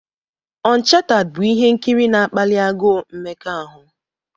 Onchatad' bụ ihe nkiri na-akpali agụụ mmekọahụ.